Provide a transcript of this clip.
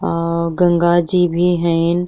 अ गंगा जी भी हैन।